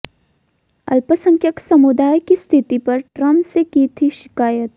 अल्पसंख्यक समुदाय की स्थिति पर ट्रंप से की थी शिकायत